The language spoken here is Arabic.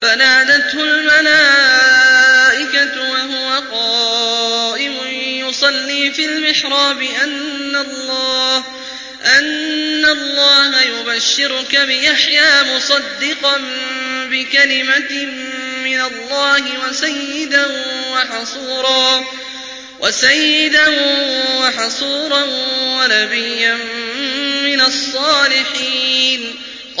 فَنَادَتْهُ الْمَلَائِكَةُ وَهُوَ قَائِمٌ يُصَلِّي فِي الْمِحْرَابِ أَنَّ اللَّهَ يُبَشِّرُكَ بِيَحْيَىٰ مُصَدِّقًا بِكَلِمَةٍ مِّنَ اللَّهِ وَسَيِّدًا وَحَصُورًا وَنَبِيًّا مِّنَ الصَّالِحِينَ